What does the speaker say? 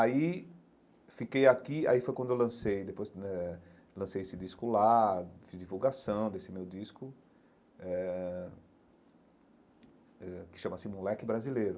Aí fiquei aqui, aí foi quando eu lancei, depois quando eh lancei esse disco lá, fiz divulgação desse meu disco eh eh, que chama-se Moleque Brasileiro.